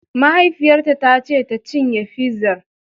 Mahaifiyarta ta ce tacinye fizar!